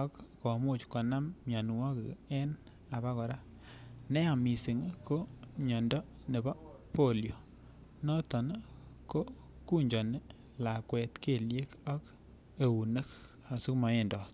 ak komuch konam mianwogik en abokora, neya missing ko miando ne bo polio noton ii ko kunjoni lakwet keliek ak eunek asimawendot.